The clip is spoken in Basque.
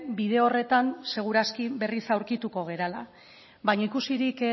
bide horretan seguru aski berriz aurkituko garela baina ikusirik